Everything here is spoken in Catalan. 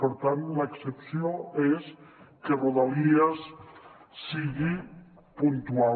per tant l’excepció és que rodalies sigui puntual